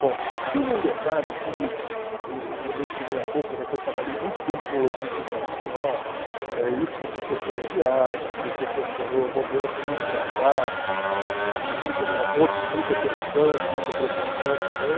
Bom, teve um detalhe que eu eu eu mencionei há pouco, que eu trabalhei muito tempo com logística internacional, eh e isso me proporcionou viagens, me proporcionou momentos muito engraçados, outros de muita tensão, de muita preocupação também.